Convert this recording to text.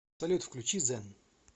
салют включи зэн